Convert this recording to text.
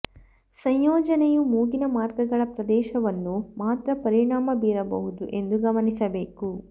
ಸಂಯೋಜನೆಯು ಮೂಗಿನ ಮಾರ್ಗಗಳ ಪ್ರದೇಶವನ್ನು ಮಾತ್ರ ಪರಿಣಾಮ ಬೀರಬಹುದು ಎಂದು ಗಮನಿಸಬೇಕು